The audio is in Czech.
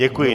Děkuji.